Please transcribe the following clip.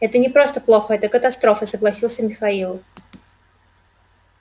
это не просто плохо это катастрофа согласился михаил